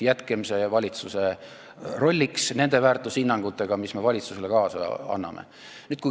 Jätame selle rolli valitsusele nende väärtushinnangutega, mis me valitsusele kaasa anname.